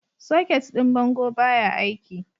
Socket ɗin bango baya aiki.